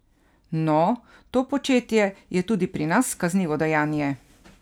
No, to početje je tudi pri nas kaznivo dejanje!